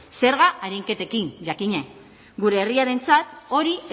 zerga arinketekin jakina gure herriarentzat hori